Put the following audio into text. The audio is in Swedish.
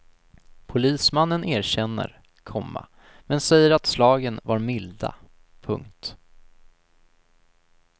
Polismannen erkänner, komma men säger att slagen var milda. punkt